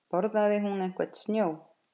Borðaði hún einhvern snjó?